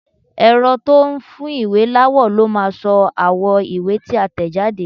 Ẹ̀rọ tó n fún ìwé láwọ̀ ló máa sọ àwọ̀ ìwé tí a tẹ̀jáde